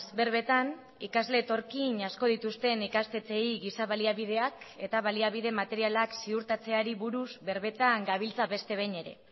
berbetan ikasle etorkin asko dituzten ikastetxeei giza baliabideak eta baliabide materialak ziurtatzeari buruz berbetan gabiltza beste behin ere